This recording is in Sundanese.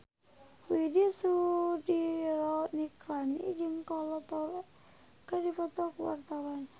Widy Soediro Nichlany jeung Kolo Taure keur dipoto ku wartawan